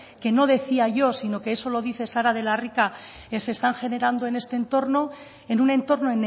que no decía yo sino que eso lo dice sara de la rica que se están generando en este entorno en un entorno